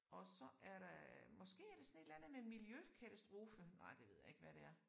Og så er der måske er det sådan et eller andet med miljøkatastrofe. Nej det ved jeg ikke hvad det er